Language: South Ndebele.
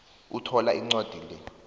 uthola incwadi le